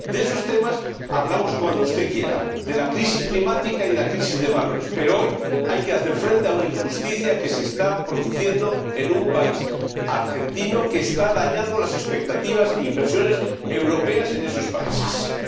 De esos temas hablamos cuando usted quiera, de la crisis climática y de la crisis de valores, pero hoy hay que hacer frente a una injusticia que se está produciendo en un país, Argentina, que está dañando las expectativas e inversiones europeas en los países de la región.